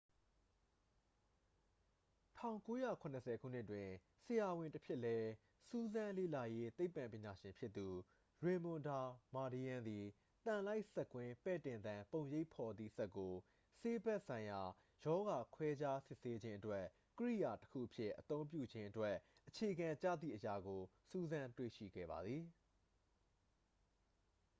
1970 ခုနှစ်တွင် ဆရာဝန်တဖြစ်လဲ စူးစမ်းလေ့လာရေးသိပ္ပံပညာရှင်ဖြစ်သူ ရေမွန် ဒါမာဒီးယန်း သည် သံလိုက်စက်ကွင်း ပဲ့တင်သံ ပုံရိပ်ဖော်သည့် စက်ကို ဆေးဘက်ဆိုင်ရာ ရောဂါခွဲခြားစစ်ဆေးခြင်းအတွက် ကိရိယာတစ်ခုအဖြစ် အသုံးပြုခြင်းအတွက် အခြေခံကျသည့်အရာကို စူးစမ်းတွေ့ရှိခဲ့ပါသည်